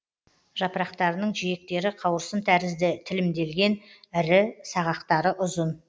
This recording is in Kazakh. жапырақтарының жиектері қауырсын тәрізді тілімделген ірі сағақтары ұзын